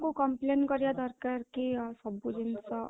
କୁ complain କରିବା ଦରକାର କି ସବୁ ଜିନିଷ